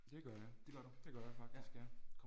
Det gør jeg. Det gør jeg faktisk ja